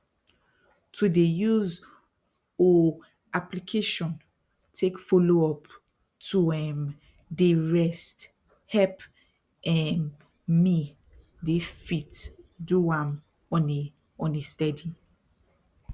to dey use oohh application take follow up to um dey rest help um me dey fit do am on a on a steady